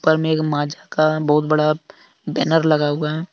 ऊपर मे एक माझा का बहुत बड़ा बैनर लगा हुआ है।